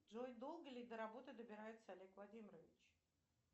джой долго ли до работы добирается олег владимирович